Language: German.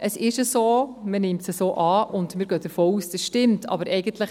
So ist es und so nimmt man es an, und wir gehen davon aus, dass es stimmt.